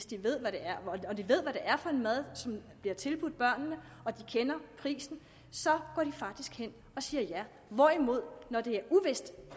de ved hvad det er for en mad som bliver tilbudt børnene og de kender prisen så går de faktisk hen og siger ja når det er uvist